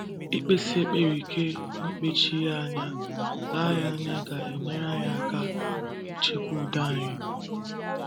Ikpesi ekpere ike na ikpechi ya anya ga ya anya ga - enyere anyị aka ichekwa udo anyị.